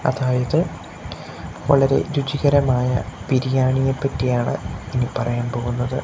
അതായത് വളരെ രുചികരമായ ബിരിയാണിയെ പറ്റിയാണ് ഇനി പറയാൻ പോകുന്നത്.